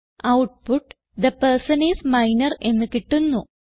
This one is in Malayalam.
output the person is minor എന്ന് കിട്ടുന്നു